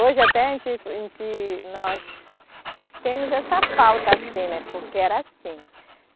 Hoje até a gente, em ti, nós temos essa falta assim né, porque era assim.